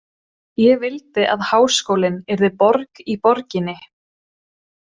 Ég vildi að háskólinn yrði borg í borginni.